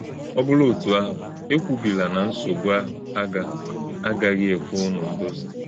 Ọ bụrụ̄ òtụ́ àhụ̄, èkwùbìlà na nsọ̀gbú̄ àhụ̄ agà - àgàghị̄ ekwè̄ únù ndòzì̄.